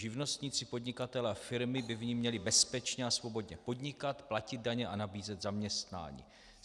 Živnostníci, podnikatelé a firmy by v ní měli bezpečně a svobodně podnikat, platit daně a nabízet zaměstnání.